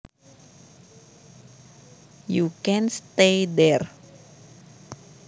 You can stay there